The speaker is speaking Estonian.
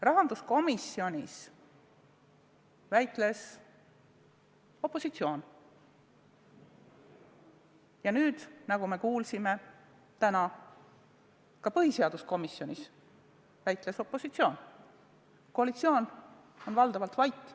Rahanduskomisjonis väitles opositsioon ja nagu me kuulsime täna, ka põhiseaduskomisjonis väitles opositsioon, koalitsioon oli valdavalt vait.